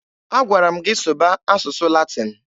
A gwara m gị sụba asụsụ Latin!